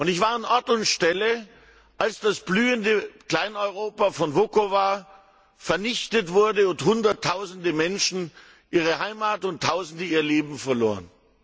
Ich war an Ort und Stelle, als das blühende Klein Europa von Vukovar vernichtet wurde und Hunderttausende Menschen ihre Heimat und Tausende ihr Leben verloren.